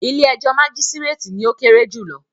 “ilé-ẹjọ́ majisireti” ni ó kéré jùlọ.